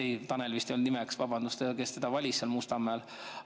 Ei, vabandust, Tanel vist ei olnud selle inimese nimi, kes teda valis seal Mustamäel.